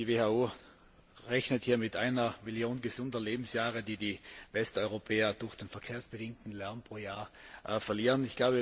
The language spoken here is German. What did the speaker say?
Die WHO rechnet mit einer Million gesunder Lebensjahre, die die Westeuropäer durch den verkehrsbedingten Lärm pro Jahr verlieren.